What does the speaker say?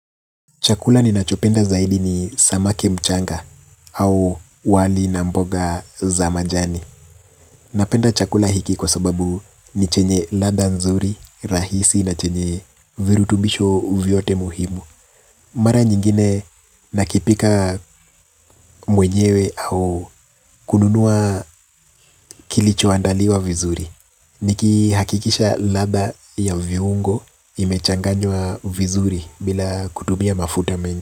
Chakula ni nachopenda zaidi ni samake mchanga au wali na mboga za majani. Napenda chakula hiki kwa sababu ni chenye ladha nzuri, rahisi na chenye virutubisho vyote muhimu. Mara nyingine nakipika mwenyewe au kununua kilicho andaliwa vizuri. Niki hakikisha ladha ya viungo imechanganywa vizuri bila kutumia mafuta mengi.